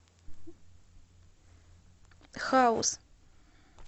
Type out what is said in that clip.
хаус